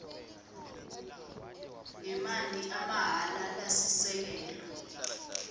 ngemanti amahhala lasisekelo